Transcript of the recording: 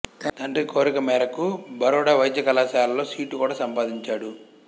తండ్రి కోరిక మేరకు బరోడా వైద్య కళాశాలలో సీటు కూడా సంపాదించాడు